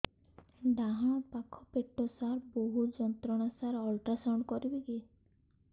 ଡାହାଣ ପାଖ ପେଟ ସାର ବହୁତ ଯନ୍ତ୍ରଣା ସାର ଅଲଟ୍ରାସାଉଣ୍ଡ କରିବି କି